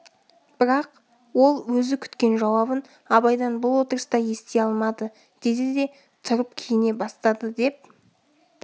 бірақ ол өзі күткен жауабын абайдан бұл отырыста ести алмады деді де тұрып киіне бастады деп